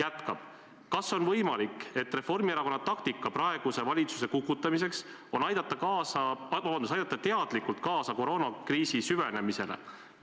Edasi: "Kas on võimalik, et Reformierakonna taktika praeguse valitsuse kukutamiseks on aidata teadlikult kaasa koroonakriisi süvenemisele?